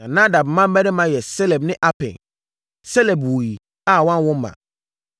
Na Nadab mmammarima yɛ Seled ne Apaim. Seled wuiɛ a wanwo mma;